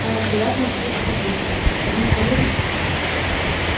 о приятно удивился папулька так мы коллеги